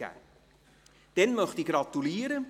Nun möchte ich gratulieren.